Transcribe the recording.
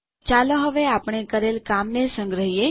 ચાલો હવે આપણે કરેલ કામને સંગ્રહીએ